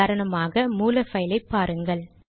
உதாரணமாக மூல பைலை பாருங்கள்